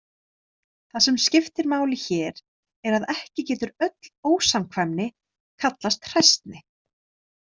Það sem skiptir máli hér er að ekki getur öll ósamkvæmni kallast hræsni.